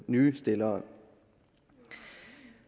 nye stillere